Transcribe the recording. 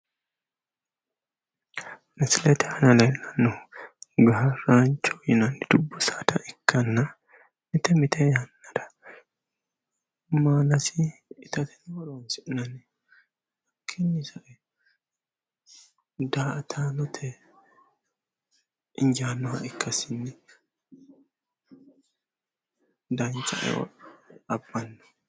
Misilete aana leellannohu gaarraancho yinanni dubbu saada ikkanna mite mite yannara maalasi itate horoonsi'nanni. Hakkiinni sae daa"ataanote injaannoha ikkasinni dancha eo abbanno.